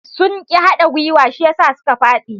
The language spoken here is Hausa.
Sun ƙi hada gwuiwa shi yasa suka faɗi.